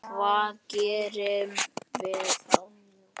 Hvað gerum við þá?